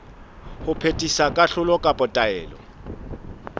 ho phethisa kahlolo kapa taelo